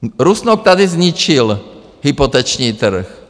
Rusnok tady zničil hypoteční trh.